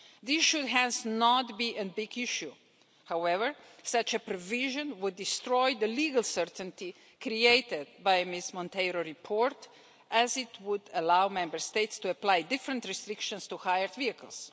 This should hence not be a big issue. However, such a provision would destroy the legal certainty created by Ms Monteiro de Aguiar's report, as it would allow Member States to apply different restrictions to hired vehicles.